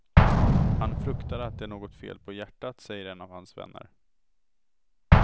Han fruktar att det är något fel på hjärtat, säger en av hans vänner.